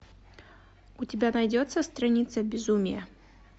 у тебя найдется страница безумия